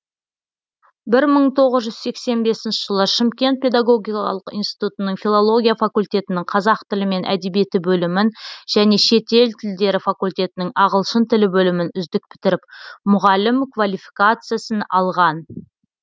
бір мың тоғыз жүз сексен бесінші жылы шымкент педагогикалық институтының филология факультетінің қазақ тілі мен әдебиеті бөлімін және шетел тілдері факультетінің ағылшын тілі бөлімін үздік бітіріп мұғалім квалификациясын алған